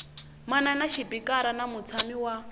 manana xipikara na mutshami wa